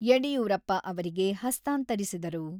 ಯಡಿಯೂರಪ್ಪ ಅವರಿಗೆ ಹಸ್ತಾಂತರಿಸಿದರು.